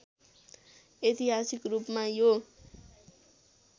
ऐतिहासिक रूपमा यो